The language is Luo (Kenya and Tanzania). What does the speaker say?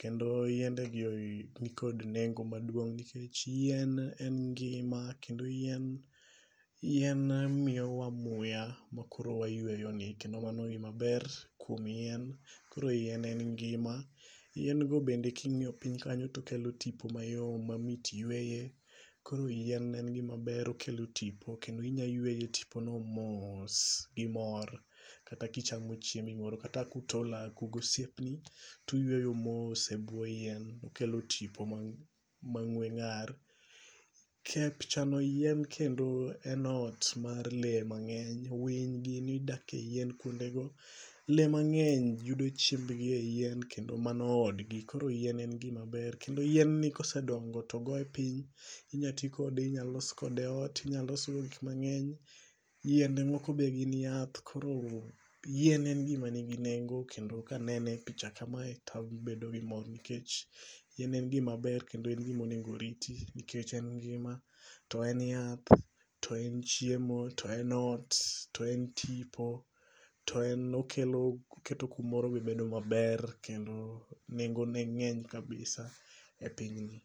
Kendo yiende gi ni kod nengo maduong'. Nikech yien en ngima. Kendo yien yien miyowa muya makoro wayueyo ni. Kendo mano gima ber kuom yien. Koro yien en ngima. Yien go bende kingi'oyo piny kanyo tokelo tipo mayom mamit yueye. Koro yien en gima maber okel tipo kendo inya yueye tipo no mos gi mor. Kata kichamo chiembi moro. Kata kuto laku gi osiepni tu yueyo mos e buo yien. okelo tipo ma ng'we ng'ar. Kep chano yien kendo en ot mar le mang'eny. Winy gini dak e yien kuondego. Le mang'eny yudo chiemb gi e yien. Kendo mano odgi. Koro yien en gima ber. Kendo yien ni kosedongo to ogoye piny inya tikode. Inya los kode ot. Inya losgo gik mang'eny. Yiende moko be gin yath. Koro yien en gima ni nengo. Kendo ka anene e picha kamae to abedo gi mor nikech yien en gima ber kendo en gimonengo oriti. Nikech en ngima. To en yath. To en chiemo. To en ot. To en tipo. To en okelo oketo kumoro be bedo maber kendo nengo ne ng'eny kabisa e piny ni.